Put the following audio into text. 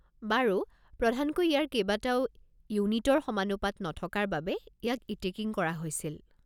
বাৰু, প্ৰধানকৈ ইয়াৰ কেইবাটাও ইউনিটৰ সমানুপাত নথকাৰ বাবে ইয়াক ইতিকিং কৰা হৈছিল।